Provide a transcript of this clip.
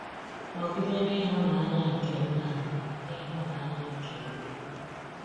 Nọgide n’ịhụnanya nke Nna na n’ịhụnanya nke Nwa.